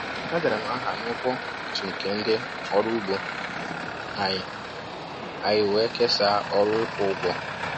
E dere m aha na ụgwọ otu nke ndị ọrụ ugbo anyị, anyị wee kesaa ọrụ ịkwụ ụgwọ.